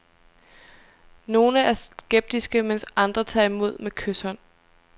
Nogle er skeptiske, mens andre tager imod med kyshånd.